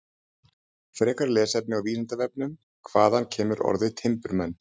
Frekara lesefni á Vísindavefnum: Hvaðan kemur orðið timburmenn?